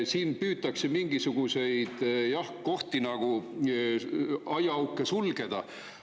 Siin püütakse mingisuguseid kohti nagu aiaauke sulgeda.